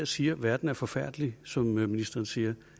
siger at verden er forfærdelig som ministeren siger